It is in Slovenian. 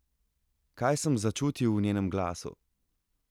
Kaj sem začutil v njenem glasu?